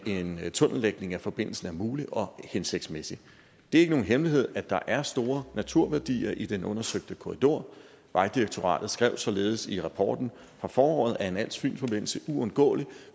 en tunnellægning af forbindelsen er mulig og hensigtsmæssig det er ikke nogen hemmelighed at der er store naturværdier i den undersøgte korridor vejdirektoratet skrev således i rapporten fra foråret at en als fyn forbindelse uundgåeligt